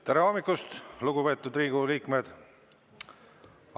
Tere hommikust, lugupeetud Riigikogu liikmed!